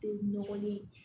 Tɛ nɔgɔlen ye